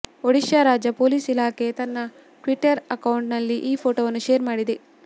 ಒಡಿಶಾ ರಾಜ್ಯ ಪೊಲೀಸ್ ಇಲಾಖೆ ತನ್ನ ಟ್ವಿಟರ್ ಅಕೌಂಟ್ ನಲ್ಲಿ ಈ ಫೋಟೊವನ್ನು ಶೇರ್ ಮಾಡಿದೆ